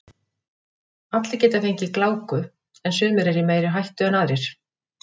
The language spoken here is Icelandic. Allir geta fengið gláku en sumir eru í meiri hættu en aðrir.